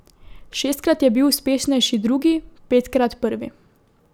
Šestkrat je bil uspešnejši drugi, petkrat prvi.